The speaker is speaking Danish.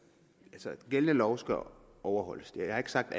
altså gældende lov skal overholdes jeg har ikke sagt